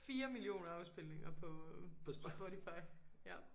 4 millioner afspilninger på Spotify ja